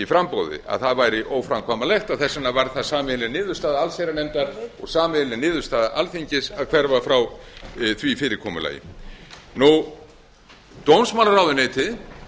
framboði að það væri óframkvæmanlegt og þess vegna varð það sameiginleg niðurstaða allsherjarnefndar og sameiginleg niðurstaða alþingis að hverfa frá því fyrirkomulagi dómsmálaráðuneytið